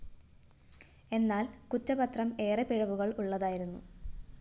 എന്നാല്‍ കുറ്റപത്രം ഏറെ പിഴവുകള്‍ ഉള്ളതായിരുന്നു